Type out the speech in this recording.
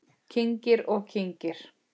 Kyngir og kyngir.